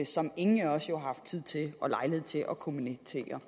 som ingen af os jo har haft tid og lejlighed til at kommentere